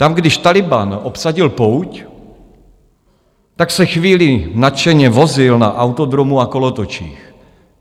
Tam když Tálibán obsadil pouť, tak se chvíli nadšeně vozil na autodromu a kolotočích.